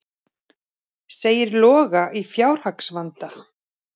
Segir Loga í fjárhagsvanda